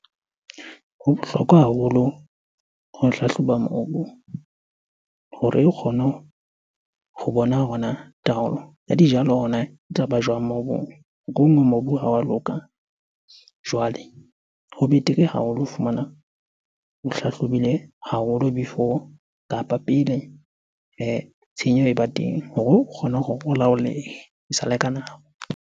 Ho bohlokwa haholo ho hlahloba mobu hore o kgone ho bona hore na taolo ya dijalo hore na e tlaba jwang mobung? Mobu ha wa loka. Jwale ho betere ha o lo fumana o hlahlobile haholo before kapa pele tshenyeho e ba teng hore o kgone hore o laolehe esale ka nako.